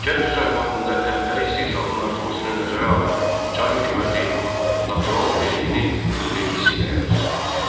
Kənd təsərrüfatında əmtəə istehsalının artmasını nəzərə alan Çar hökuməti natural vergini pul vergisi ilə əvəz etdi.